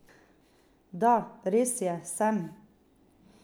Da, res je, sem.